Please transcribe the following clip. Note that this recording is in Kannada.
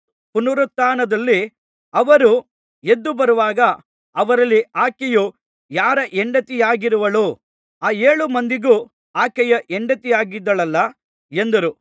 ಪುನರುತ್ಥಾನದಲ್ಲಿ ಅವರು ಎದ್ದುಬರುವಾಗ ಅವರಲ್ಲಿ ಆಕೆಯು ಯಾರ ಹೆಂಡತಿಯಾಗಿರುವಳು ಆ ಏಳು ಮಂದಿಗೂ ಆಕೆಯು ಹೆಂಡತಿಯಾಗಿದ್ದಳಲ್ಲಾ ಎಂದರು